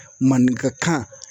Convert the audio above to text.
Maninkakan.